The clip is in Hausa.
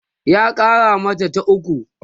ya Kara mata ta ukwu